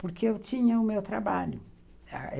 Porque eu tinha o meu trabalho.